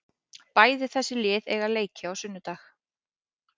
Bæði þessi lið eiga leiki á sunnudag.